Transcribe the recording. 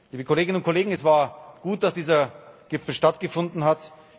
Liebe Kolleginnen und Kollegen, es war gut, dass dieser Gipfel stattgefunden